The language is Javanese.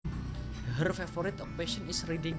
Her favorite occupation is reading